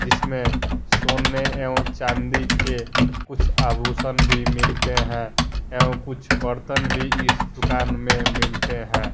जिस सोने एवं चांदी के कुछ आभूषण भी मिलते हैं एवं कुछ बर्तन भी इस दुकान में मिलते हैं।